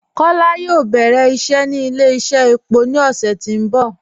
Kọla yóò bẹ̀rẹ̀ iṣẹ́ ni ilẹ̀-iṣẹ̀ èpọ̀ ni ọṣẹ̀ tí n bọ